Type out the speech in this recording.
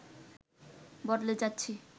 বদলে যাচ্ছি